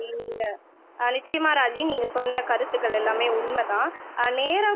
நீங்க ஆஹ் நிச்சயமா ராஜி நீங்க சொன்ன கருத்துக்கள் எல்லாமே உண்மைதான் ஆஹ் நேரம்